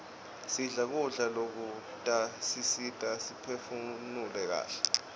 sidle kudla lokutasisita siphefunule kaihle